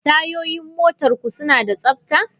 Tayoyin motarku suna da tsabta?